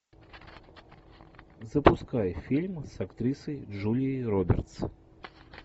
запускай фильм с актрисой джулией робертс